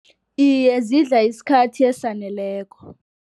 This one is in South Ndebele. Iye, zidla isikhathi esaneleko.